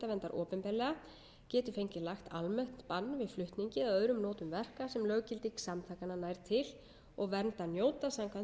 opinberlega geti fengið lagt almennt bann við flutningi eða öðrum notum verka sem löggilding samtakanna nær til og verndar njóta samkvæmt